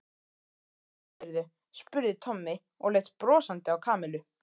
Hvað sagðirðu? spurði Tommi og leit brosandi á Kamillu.